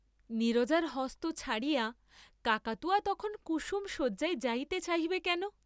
নীরজার হস্ত ছাড়িয়া কাকাতুয়া তখন কুসুম শয্যায় যাইতে চাহিবে কেন?